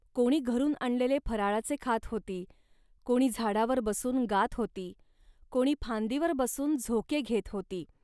कोणी घरून आणलेले फराळाचे खात होती. कोणी झाडावर बसून गात होती, कोणी फांदीवर बसून झोके घेत होती